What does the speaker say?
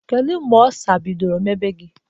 Kedu mgbe Ọlsa bidọrọ mewa gi?